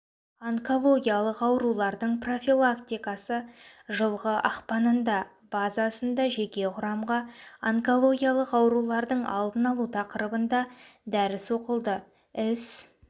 онкологиялық аурулардың профилактикасы жылғы ақпанында базасында жеке құрамға онкологиялық аурулардың алдын алу тақырыбында дәріс оқылды іс